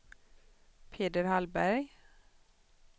Peder Hallberg